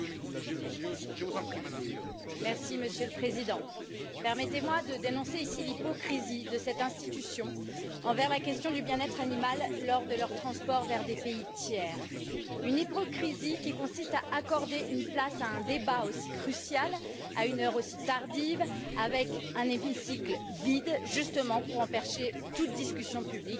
Monsieur le Président, permettez moi de dénoncer ici l'hypocrisie de cette institution quant à la question du bien être animal lors du transport vers des pays tiers, une hypocrisie qui consiste à accorder une place à un débat aussi crucial à une heure aussi tardive, alors que l'hémicycle est vide, justement pour empêcher toute discussion publique sur le régime d'abattage halal.